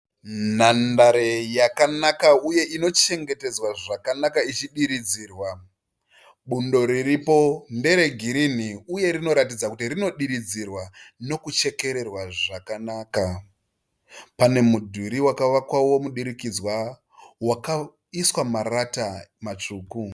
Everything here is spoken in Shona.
Nhandare yakanaka uye inochengetedzwa zvakanaka ichidiridzirwa, bundo riripo ndere girini uye rinoratidza kuti rinodiridzirwa uye nekuchekererwa. Pane mudhuri wakavakwa wemudurikidzwa wakaiswa marata matsvuku.